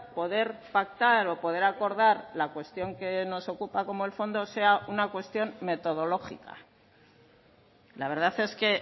poder pactar o poder acordar la cuestión que nos ocupa como el fondo sea una cuestión metodológica la verdad es que